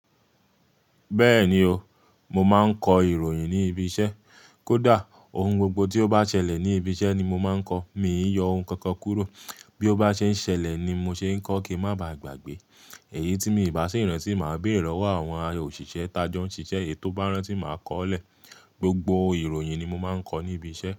Bẹ́ẹ̀ni o, mo máa ń kọ ìròyìn ní ibi iṣẹ́. Kódà ohun gbogbo tí ó bá ṣẹlẹ̀ ní ibi iṣẹ́ ni mo máa ń kọ. Mi ò yọ ohun kankan kúrò. Bí ó bá ṣe ń ṣẹlẹ̀ ni mo ṣe ń kọ kí a má ba à gbàgbé. Èyí tí mi ò bá sì rántí, màá béèrè lọ́wọ́ àwọn òṣìṣẹ́, tà jọ ń ṣiṣẹ́ èyí tó bá rántí, màá kọ ó lẹ̀. Gbogbo ìròyìn ni mo máa ń kọ ní ibi iṣẹ́